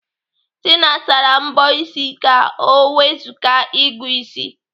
Tina sara mbọ ịsị ka ọ wezuga ịgụ ịsị.